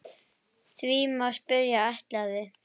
Því má spyrja: ætlaði